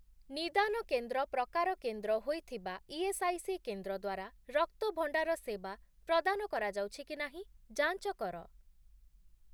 ନିଦାନ କେନ୍ଦ୍ର' ପ୍ରକାର କେନ୍ଦ୍ର ହୋଇଥିବା ଇଏସ୍ଆଇସି କେନ୍ଦ୍ର ଦ୍ୱାରା ରକ୍ତ ଭଣ୍ଡାର ସେବା ପ୍ରଦାନ କରାଯାଉଛି କି ନାହିଁ ଯାଞ୍ଚ କର ।